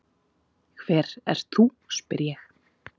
Hver ert þú, spyr ég.